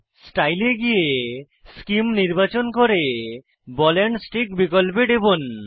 style এ গিয়ে সেমে নির্বাচন করে বল এন্ড স্টিক বিকল্পে টিপুন